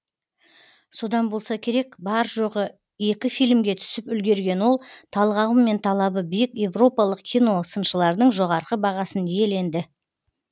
содан болса керек бар жоғы екі фильмге түсіп үлгерген ол талғамы мен талабы биік европалық киносыншылардың жоғары бағасын иеленді